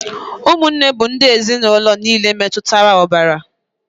Ụmụnne bụ ndị ezinụlọ niile metụtara ọbara.